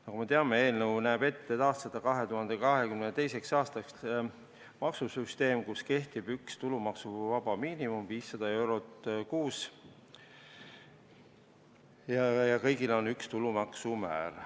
Nagu me teame, eelnõu näeb ette taastada 2022. aastaks maksusüsteem, kus kehtib üks tulumaksuvaba miinimum, 500 eurot kuus, ja kõigil on üks tulumaksu määr.